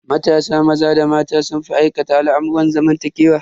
Matasa maza da mata sun fi aikata al'amurran zamantakewa.